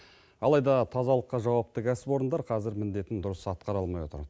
алайда тазалыққа жауапты кәсіпорындар қазір міндетін дұрыс атқара алмай отыр